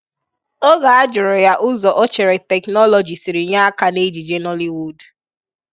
Oge a jụrụ ya ụzọ o chere teknọlọji siri nye aka n'ejije Nollywood